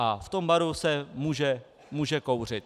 A v tom baru se může kouřit.